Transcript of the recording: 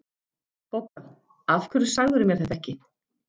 BOGGA: Af hverju sagðirðu mér þetta ekki?